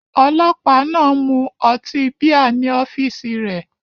Ọlọ́pàá náà ń mu ọtí bíà ní ọ́fíìsì rẹ̀.